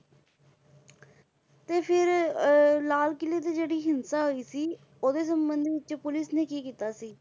ਤੇ ਫਿਰ ਅਹ ਲਾਲ ਕਿਲ੍ਹੇ ਤੇ ਜਿਹੜੀ ਹਿੰਸਾ ਹੋਈ ਸੀ ਉਹਦੇ ਸੰਬੰਧ ਵਿੱਚ ਪੁੱਲਿਸ ਨੇ ਕੀ ਕੀਤਾ ਸੀ?